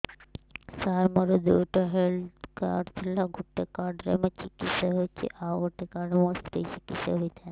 ସାର ମୋର ଦୁଇଟି health card ଥିଲା ଗୋଟେ କାର୍ଡ ରେ ମୁଁ ଚିକିତ୍ସା ହେଉଛି ଆଉ ଗୋଟେ କାର୍ଡ ରେ ମୋ ସ୍ତ୍ରୀ ଚିକିତ୍ସା ହୋଇଥାନ୍ତେ